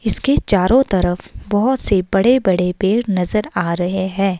इसके चारों तरफ बहुत से बड़े-बड़े पेड़ नजर आ रहे हैं।